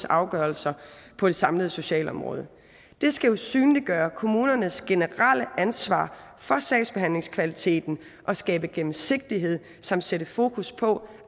afgørelser på det samlede socialområde det skal jo synliggøre kommunernes generelle ansvar for sagsbehandlingskvaliteten og skabe gennemsigtighed samt sætte fokus på